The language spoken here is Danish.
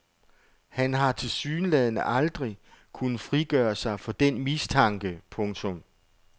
Han har tilsyneladende aldrig kunnet frigøre sig for den mistanke. punktum